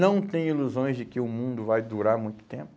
Não tem ilusões de que o mundo vai durar muito tempo.